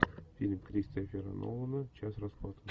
фильм кристофера нолана часть расплаты